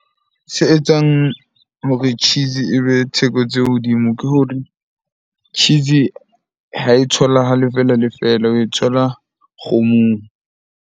Se etswang hore cheese ebe theko tse hodimo ke hore cheese ha e tholahale fela le fela. Oe thola kgomong.